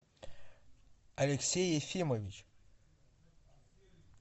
алексей ефимович